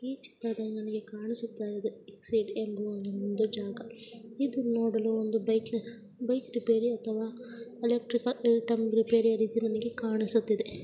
ಈ ಚಿತ್ರದಲ್ಲಿ ಕಾಣಿಸುತ್ತಾ ಇರುವುದು ಎಕ್ಸೈಡ್ ಎಂಬ ಒಂದು ಜಾಗ ಇದು ನೋಡಲು ಒಂದು ಬೈಕಿನ ಬೈಕ್ ರಿಪೇರಿ ಅಥವಾ ಎಲೆಕ್ಟ್ರಿಕಲ್ ಐಟಂ ರಿಪೇರಿ ಎಂಬುದು ನನಗೆ ಕಾಣಿಸುತ್ತಿದೆ.